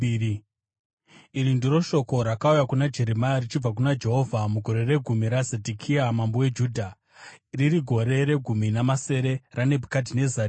Iri ndiro shoko rakauya kuna Jeremia richibva kuna Jehovha mugore regumi raZedhekia mambo weJudha, riri gore regumi namasere raNebhukadhinezari.